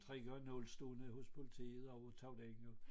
3 gange 0 stående hos politiet og tog ringet